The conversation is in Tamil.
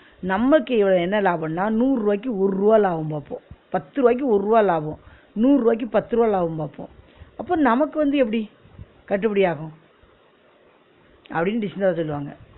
நமக்கு என்ன லாபன்னா நூறு ருவாயிக்கு ஒரு ருபா லாபம் பாப்போம், பத்து ருவாயிக்கு ஒரு ருவா லாபம், நூறு ருவாயிக்கு பத்து ருவா லாபம் பாப்போம் அப்ப நமக்கு வந்து எப்பிடி கட்டுபிடி ஆகும் அப்பிடின்னு சொல்வாங்க